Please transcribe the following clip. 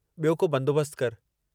ॿियो को बंदोबस्त करि।